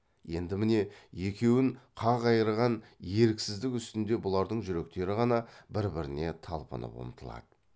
енді міне екеуін қақ айырған еріксіздік үстінде бұлардың жүректері ғана бір біріне талпынып ұмтылады